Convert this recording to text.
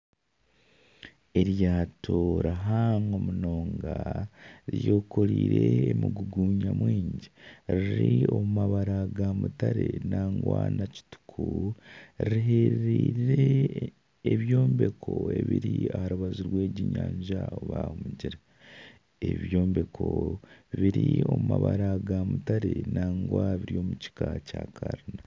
Eryato rihango munonga ryekoreire emigugu nyamwingi riri omu mabara ga mutare nangwa na kituku riheririre ebyombeko ibiri aha rubaju rw'egi enyanja oba omugyera. Ebyombeko biri omu mabara ga mutare nangwa biri omukika kya karina.